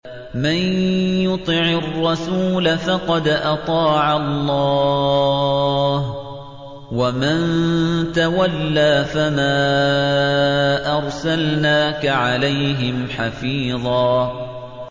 مَّن يُطِعِ الرَّسُولَ فَقَدْ أَطَاعَ اللَّهَ ۖ وَمَن تَوَلَّىٰ فَمَا أَرْسَلْنَاكَ عَلَيْهِمْ حَفِيظًا